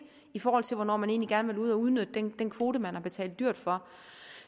i forhold til hvornår man egentlig gerne ville ud at udnytte den kvote som man har betalt dyrt for